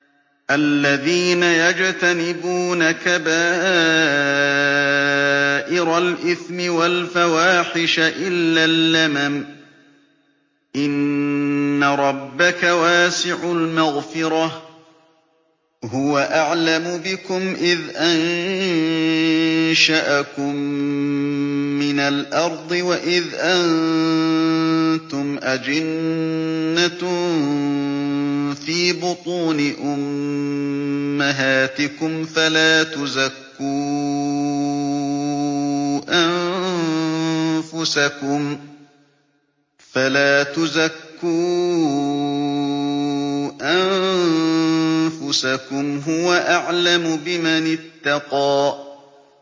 الَّذِينَ يَجْتَنِبُونَ كَبَائِرَ الْإِثْمِ وَالْفَوَاحِشَ إِلَّا اللَّمَمَ ۚ إِنَّ رَبَّكَ وَاسِعُ الْمَغْفِرَةِ ۚ هُوَ أَعْلَمُ بِكُمْ إِذْ أَنشَأَكُم مِّنَ الْأَرْضِ وَإِذْ أَنتُمْ أَجِنَّةٌ فِي بُطُونِ أُمَّهَاتِكُمْ ۖ فَلَا تُزَكُّوا أَنفُسَكُمْ ۖ هُوَ أَعْلَمُ بِمَنِ اتَّقَىٰ